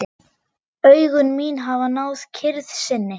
Augu mín hafa náð kyrrð sinni.